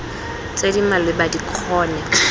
tse di maleba di kgone